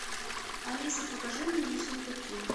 алиса покажи мне ессентуки